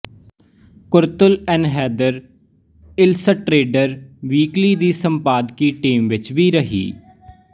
Qurratul Ain Hyder illustrated weekly ਦੀ ਸੰਪਾਦਕੀ team ਵਿੱਚ ਵੀ ਰਹੀ